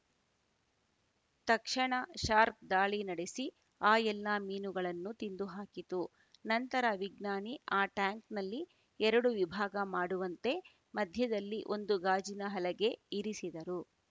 ತಕ್ಷಣ ಶಾರ್ಕ್ ದಾಳಿ ನಡೆಸಿ ಆ ಎಲ್ಲ ಮೀನುಗಳನ್ನು ತಿಂದುಹಾಕಿತು ನಂತರ ವಿಜ್ಞಾನಿ ಆ ಟ್ಯಾಂಕ್‌ನಲ್ಲಿ ಎರಡು ವಿಭಾಗ ಮಾಡುವಂತೆ ಮಧ್ಯದಲ್ಲಿ ಒಂದು ಗಾಜಿನ ಹಲಗೆ ಇರಿಸಿದರು